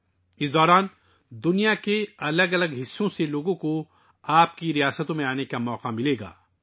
اس عرصے کے دوران دنیا کے مختلف حصوں سے لوگوں کو آپ کی ریاستوں کا دورہ کرنے کا موقع ملے گا